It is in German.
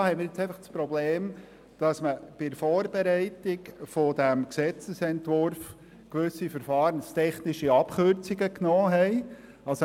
Es besteht nun das Problem, dass bei der Vorbereitung dieses Gesetzesentwurfs gewisse verfahrenstechnische Abkürzungen gemacht wurden.